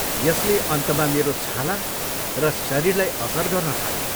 यसले अन्तमा मेरो छाला र शरीरलाई असर गर्न थाल्यो।